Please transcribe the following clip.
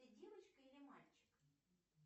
ты девочка или мальчик